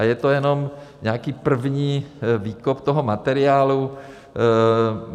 A je to jenom nějaký první výkop toho materiálu.